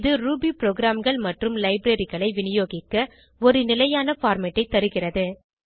இது ரூபி ப்ரோகிராம்கள் மற்றும் libraryகளை விநியோகிக்க ஒரு நிலையான பார்மேட் ஐ தருகிறது